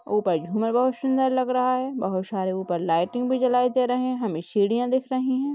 ऊपर झूमर बहुत शुंदर लग रहा है बहुत शारे ऊपर लाइटिंग भी जलाई दे रहे हैं हमें सीढ़ियां दिख रही है।